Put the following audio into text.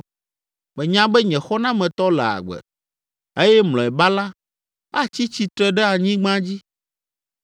Menya be nye Xɔnametɔ le agbe, eye mlɔeba la, atsi tsitre ɖe anyigba dzi.